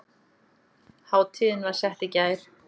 Hátíðin var sett í gær